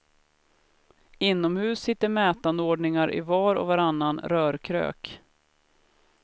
Inomhus sitter mätanordningar i var och varannan rörkrök.